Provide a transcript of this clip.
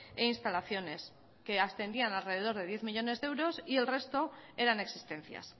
e instalaciones que ascendían a alrededor de diez millónes de euros y el resto eran existencias